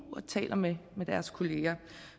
og taler med deres kollegaer